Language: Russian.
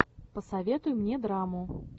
посоветуй мне драму